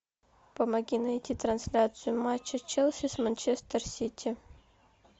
помоги найти трансляцию матча челси с манчестер сити